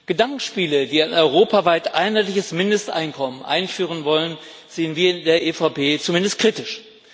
Gedankenspiele, wie wir ein europaweit einheitliches Mindesteinkommen einführen wollen, sehen wir in der EVP zumindest kritisch.